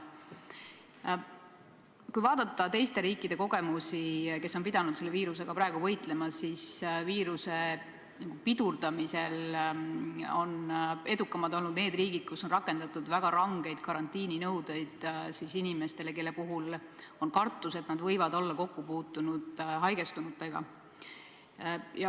Kui vaadata teiste riikide kogemusi, kes on pidanud selle viirusega võitlema, siis näeme, et viiruse pidurdamisel on edukamad olnud riigid, kus on rakendatud väga rangeid karantiininõudeid inimestele, kelle puhul on kartus, et nad võivad olla kokku puutunud haigestunutega.